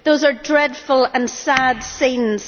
Those are dreadful and sad scenes.